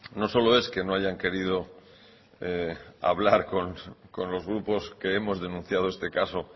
no solo es que no hayan querido hablar con los grupos que hemos denunciado este caso